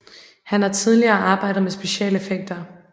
Han har tidligere arbejdet med specialeffekter